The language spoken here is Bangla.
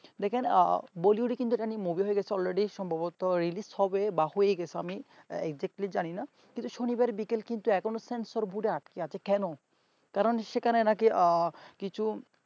দেখুন bollywood এটা নিয়ে movie হয়ে গেছে already সম্ভবত release হবে বা হয়ে গেছে আমি actually জানিনা কিন্তু শনিবার বিকেল কিন্তু এখনো sensor board আটকে আছে কেন কারণ সেখানে নাকি কিছু